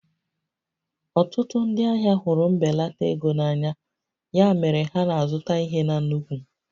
Ọtụtụ ndị ahịa hụrụ mbelata ego na anya, ya mere ha na-azụta ihe na nnukwu